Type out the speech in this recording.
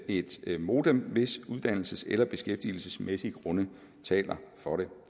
et modem hvis uddannelses eller beskæftigelsesmæssige grunde taler for det